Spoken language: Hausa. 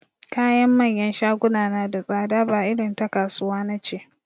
Kayan manyan shaguna na da tsada ba irin ta kasuwa nace